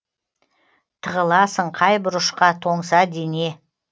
тығыласың қай бұрышқа тоңса дене